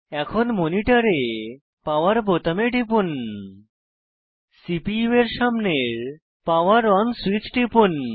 এখন মনিটরে পাওয়ার বোতামে টিপুন সিপিইউ এর সামনের পাওয়ার অন সুইচ টিপুন